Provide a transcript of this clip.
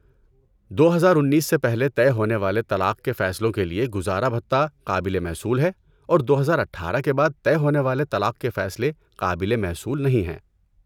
دو ہزار انیس سے پہلے طے ہونے والے طلاق کے فیصلوں کے لیے گزارا بھتہ قابل محصول ہے اور دو ہزار اٹھارہ کے بعد طے ہونے والے طلاق کے فیصلے قابل محصول نہیں ہے